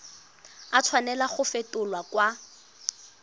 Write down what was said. a tshwanela go fetolwa kwa